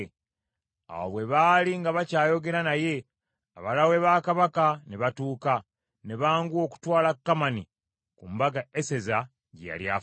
Awo bwe baali nga bakyayogera naye, abalaawe ba Kabaka ne batuuka, ne banguwa okutwala Kamani ku mbaga Eseza gye yali afumbye.